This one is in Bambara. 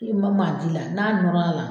E ma ma a di la n'a nɔrɔ l'a la